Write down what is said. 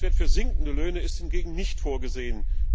Ein Grenzwert für sinkende Löhne ist hingegen nicht vorgesehen.